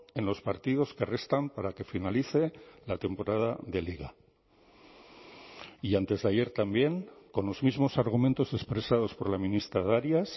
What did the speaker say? en los partidos que restan para que finalice la temporada de liga y antes de ayer también con los mismos argumentos expresados por la ministra darias